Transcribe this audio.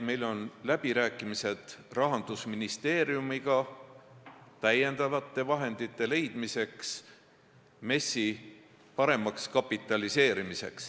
Meil on läbirääkimised Rahandusministeeriumiga täiendavate vahendite leidmise üle MES-i paremaks kapitaliseerimiseks.